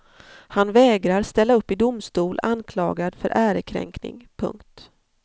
Han vägrar ställa upp i domstol anklagad för ärekränkning. punkt